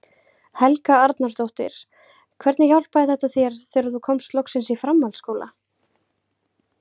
Helga Arnardóttir: Hvernig hjálpaði þetta þér þegar þú komst loksins í framhaldsskóla?